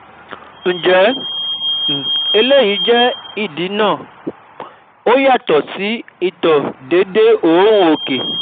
Ǹjẹ́ um eléyìí lè jẹ́ ìdí um náà? Ó yàtọ̀ um sí ìtọ̀ déédé òórùn òkè